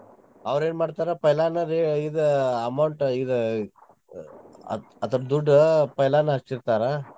ಅವ್ರೆನ್ ಮಾಡ್ತಾರ್ ಪೈಲಾನರ್ ಇದ್ amount ಇದ್ ಅದ್~ ಅದರ ದುಡ್ಡ್ ಪೈಲಾನ ಹಚ್ಚಿರ್ತಾರ.